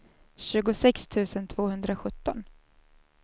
tjugosex tusen tvåhundrasjutton